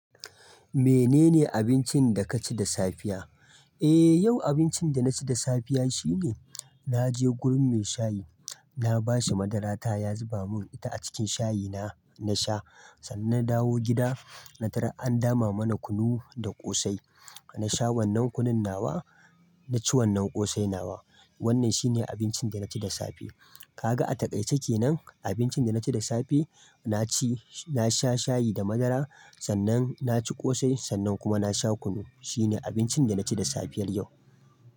Menene abincin da ka ci da safiya? Eh yau abincin da na ci da safiya shine, na je gurin mai shayi, na ba shi madarata ya zuba mun ita a cikin shayina na sha. Sannan na dawo gida, na tar an dama mana kunu da ƙosai. Na sha wannan kunun nawa, na ci wannan ƙosai nawa. Wannan shine abincin da na ci da safe. Ka ga a takaice kenan, abincin da na ci da safe. Na ci, na sha shayi da madara, sannan na ci ƙosai, sannan kuma na sha kunu. Shine abincin da na ci da safiyar yau.